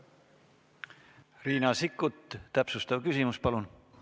Riina Sikkut, täpsustav küsimus, palun!